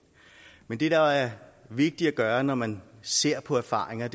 men det der er vigtigt at gøre når man ser på erfaringer